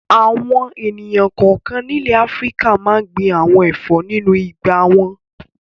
Àwọn ènìyàn kọ̀ọ̀kan nílẹ̀ Áfíríkà máa ń gbin àwọn ẹ̀fọ́ nínú ìgbà wọn.